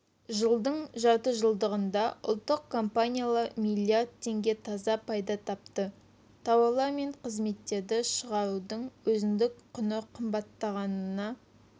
жылдың жартыжылдығында ұлттық компаниялар миллиард теңге таза пайда тапты тауарлар мен қызметтерді шығарудың өзіндік құны қымбаттағанына